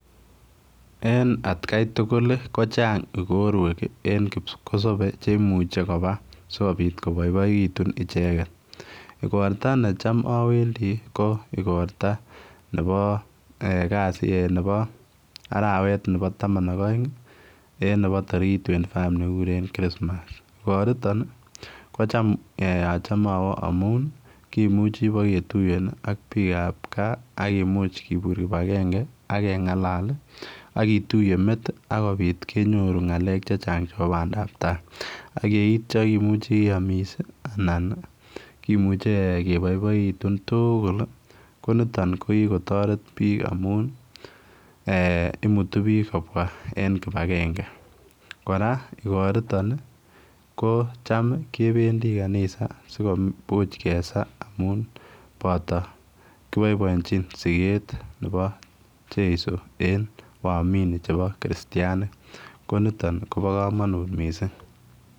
En kai tugul kochaang igoruek cheimuiche kobaa sikobiit kobaibaegituun ichegeet igorta necham awendii ii ko igortaa nebo araweek nebo tamaan ak aeng en nebo tarikiit [twenty five] igoritoon ko chaam achame awoo amuun kimuchei ibaak ketuyeen ak biik ab gaah akomuuch kibur kibagengei ak kengalal akituyee met ii akobiit kenyoruu ngalek che chaang chebo bandaap tai ak yeityaa komuchii keyamis ii anan kimuchei kobaibaituun tuguul ii ko nitoon kikotaret biik amuun imuutu biik kobwa en kibagengei kora en igoritoon ii ko chaam kebendii kanisa sikomuuch kesaa amuun boto kibaibaiechiin sokeet nebo jesu en waumini chebo kristianik ko nitoon koba kamanuut missing.